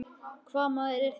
Hvaða maður er þetta?